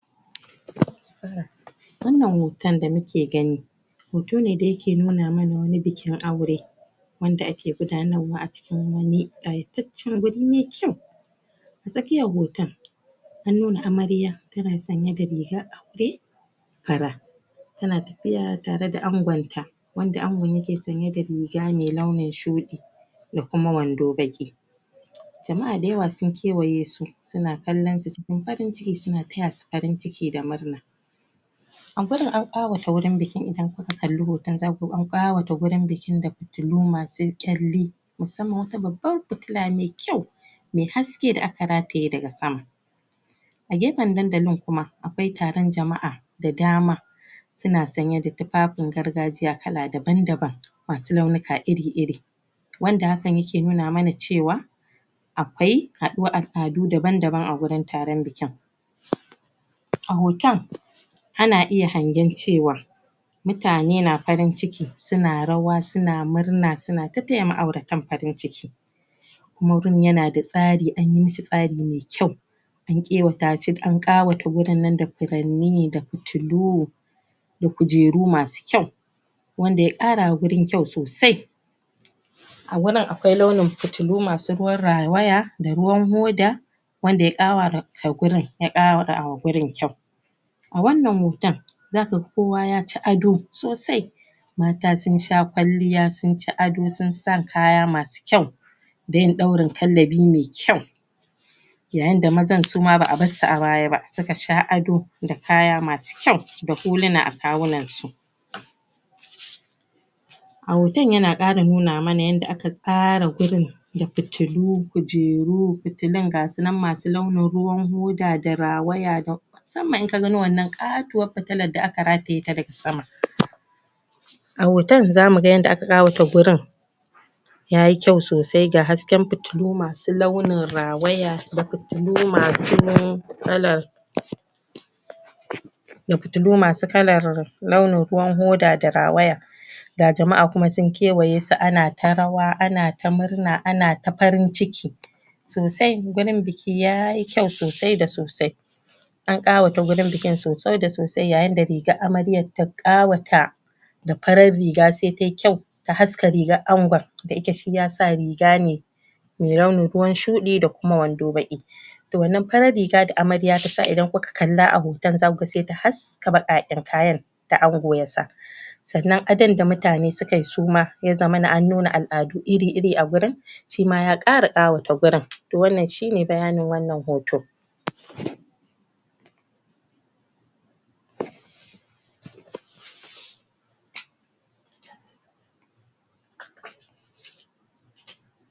Wannan hotan da muke gani, hoto ne da yake nuna mana wani bikin aure, wanda ake gudanarwa a cikin wani ƙayataccen wuri mai kyau. Tsakkiyan hoton, an nuna amarya tana sanye da rigar aure fara, tana tafiya tare da angon ta, wanda angon yake sanye da riga mai launin shuɗi, da kuma wando baki. Jama'a da yawa sun kewaye su, suna kallon su cikin farin ciki, suna taya su farin ciki da murna. A gurin a ƙawata wurin bikin, idan kuka kalli hoto zaku ga an ƙawata gurin bikin da fitillu masu ƙyalli, musamman wata babban fitila me kyau, me haske da aka rataye daga sama. A gefen dandalin kuma, akwai taron jama'a da dama, suna sanye da tufafin gargajiya masu launuka iri-iri, wanda hakan yike nuna mana cewa akwai haɗuwan al'adu daban-daban a gurin taron bikin. A hotan, ana iya hangen cewa mutane na farin ciki, suna rawa suna murna, suna ta taya ma'auratan farin ciki, kuma gurin yana da tsari, anyi mishi tsari mai kyau. An ƙawata gurin nan da furanni, da fitillu, da kujeru masu kyau, wanda ya ƙara ma gurin kyau sosai. A wurin akwai launin fitilu masu ruwan rawaya da ruwan hoda, wanda ya ƙawata ta gurin, ya ƙawata gurin kyau. A wannan hota, za kaga kowa yaci ado sosai, mata sun sha kwalliya, sun ci ado, sun sa kaya masu kyau, da yin ɗaurin kallabi mai kyau. Yayin da mazan ma ba a bassu a baya, suka sha ado da kaya masu kyau, da huluna a kawunan su. A hoton yana ƙara nuna mana yanda aka tsara gurin da fitillu, kujeru, fitilun gasu nan masu launin ruwan hoda da rawaya musamman in ka gano wannan ƙatuwar fitillan da aka rataye ta daga sama. A hoton zamu ga yanda aka ƙawata gurin, yayi kyau sosai, ga hasken fitilu masu launin rawaya, da fitilu masu kalar da fitilu masu kalar launin ruwan hoda da rawaya, ga jama'a kuma sun kewaye su, ana ta rawa, ana ta murna, ana ta farin ciki sosai, gurin biki yayi kyau sosai da sosai. An ƙawata gurin bikin sosai da sosai, yayin da rigar amaryar ta ƙawata da farar riga, sai tayi kyau, ta haska rigar angon, da ike shi yasa riga ne mai launin ruwan shuɗi, da kuwa wando baƙi. To, wannan farar riga da amarya ta sa idan kula kalla a hotan, za kuga se ta haska baƙaƙen kayan da ango ya sa. Sannan adon da mutane su kai su ma, ya zamana an nuna al'adu ir-iri a gurin, shi ma ya ƙara ƙawata gurin. To, wannan shi ne bayanin wannan hoto.